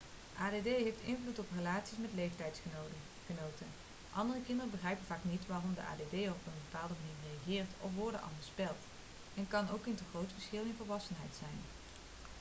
add heeft invloed op relaties met leeftijdsgenoten andere kinderen begrijpen vaak niet waarom de add'er op een bepaalde manier reageert of woorden anders spelt er kan ook een te groot verschil in volwassenheid zijn